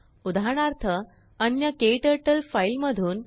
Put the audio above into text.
उदाहरणार्थअन्यKTurtleफाईलमधून